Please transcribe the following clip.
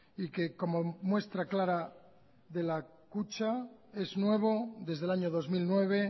y que como muestra clara de la kutxa es nuevo desde el año dos mil nueve